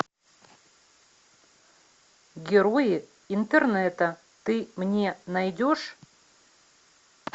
герои интернета ты мне найдешь